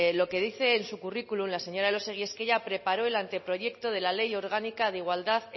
lo que dice en su currículum la señora elósegui es que ella preparó el anteproyecto de la ley orgánica de igualdad